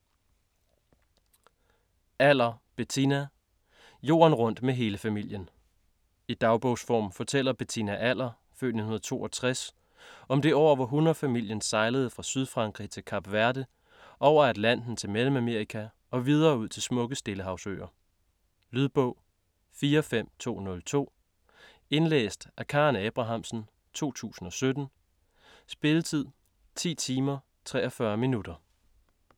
Aller, Bettina: Jorden rundt med hele familien I dagbogsform fortæller Bettina Aller (f. 1962) om det år hvor hun og familien sejlede fra Sydfrankrig til Kap Verde, over Atlanten til Mellemamerika og videre ud til smukke Stillehavsøer. Lydbog 45202 Indlæst af Karen Abrahamsen, 2017. Spilletid: 10 timer, 43 minutter.